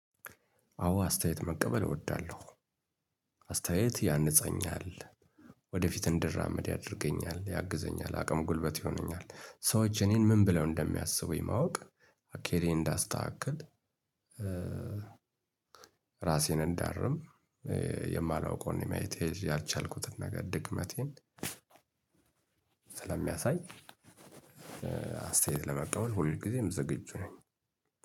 አዎ አስተያየት መቀበል እወዳለሁ አስተያየት ያንፀኛል። ወደፊት እንድራመድ ያደርገኛል ያግዘኛል አቅም ጉልበት ይሆነኛል ሰዎች እኔን ምን ብለው እንደሚያስቡኝ ማወቅ እክሌን እንዳስተካክል ራሴን እንዳርም የማላውቀውን የማየት ያልቻልኩትን ነገር ድክመቴን ስለሚያሳይ አስተያየት ለመቀበል ሁልጊዜም ዝግጁ ነኝ።